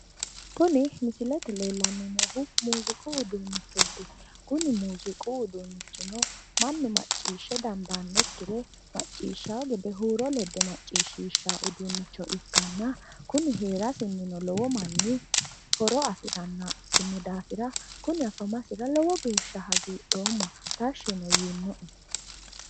Kuni misilete leellanni noohu muuziiqu uduunnichooti. Kuni muuziiqu uduunnichino mannu macciishshe dandaannokkire macciishshawo gede huuro ledde macciishshishshawo uduunnicho ikkanna kuni heerasinnino lowo manni horo afirannoha ikkino daafira kuni afamasura lowo geeshsha hagiidhoomma. Tashshino yiinoe.